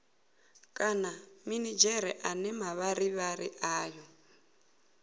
kana minidzhere ane mavharivhari ayo